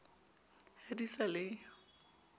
ha di sa le yo